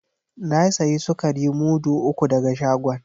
Na sayi sukari mudu uku daga shagon.